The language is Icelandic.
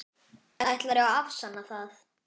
Ætlarðu að afsanna það?